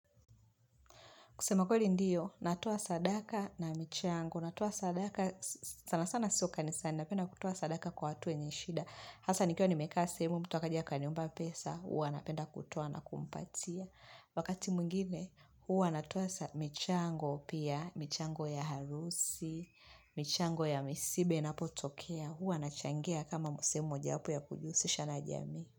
Kusema kwe ndiyo, natoa sadaka na michango, natoa sadaka, sana sana sio kanisana, napenda kutuoa sadaka kwa watu wenye shida. Hasa nikiwa nimekaa sehemu, mtu akaja akaniomba pesa, huwa napenda kutoa na kumpatia. Wakati mwingine, huwa natoa michango pia, michango ya harusi, michango ya misiba inapotokea, huwa nachangia kama sehemu mojawapo ya kujihusisha na jamii.